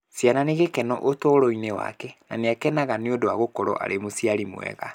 Ciana nĩ gĩkeno ũtũũro-inĩ wake na nĩ akenaga nĩ ũndũ wa gũkorũo arĩ mũciari mwega.